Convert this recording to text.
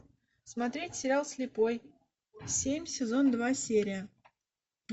смотреть сериал слепой семь сезон два серия